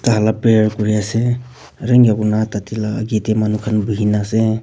tai khan la prayer kuri ase aru eneka kuri na tade la aage de manu khan buhi gina ase.